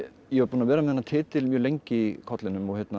ég var búinn að vera með þennan titil mjög lengi í kollinum